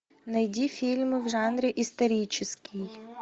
найди фильмы в жанре исторический